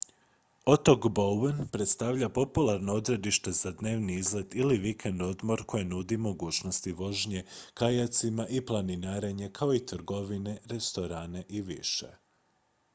otok bowen predstavlja popularno odredište za dnevni izlet ili vikend-odmor koje nudi mogućnosti vožnje kajacima i planinarenja kao i trgovine restorane i više